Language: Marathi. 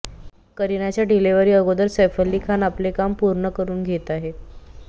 करिनाच्या डिलिव्हरी अगोदर सैफ अली खान आपले काम पूर्ण करून घेत आहे